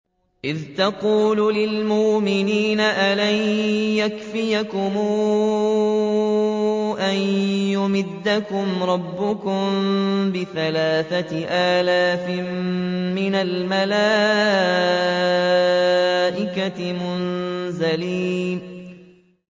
إِذْ تَقُولُ لِلْمُؤْمِنِينَ أَلَن يَكْفِيَكُمْ أَن يُمِدَّكُمْ رَبُّكُم بِثَلَاثَةِ آلَافٍ مِّنَ الْمَلَائِكَةِ مُنزَلِينَ